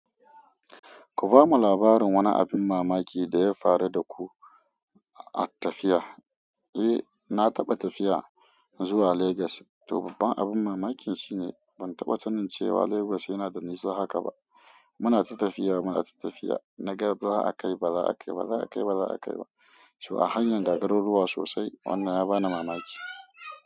Ku bamu labarin wani abin mamaki da ya faru da ku a tafiya. Eh, na taɓa tafiya zuwa Legas. To babban abin mamakin shine ban taɓa sanin cewa Legas yana da nisa haka ba. Muna ta tafiya, muna tafiya. Na ga za a kai, ba za a kai ba, za a kai, ba za a kai ba. So a hanyar ga garuruwa sosai. Wannan ya bani mamaki.